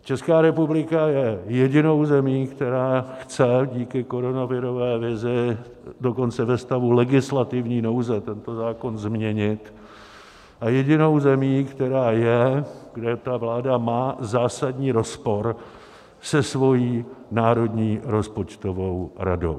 Česká republika je jedinou zemí, která chce díky koronavirové vizi dokonce ve stavu legislativní nouze tento zákon změnit, a jedinou zemí, která je, kde ta vláda má zásadní rozpor se svou národní rozpočtovou radou.